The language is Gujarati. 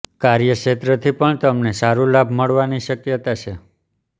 કાર્યક્ષેત્ર થી પણ તમને સારું લાભ મળવા ની શક્યતા છે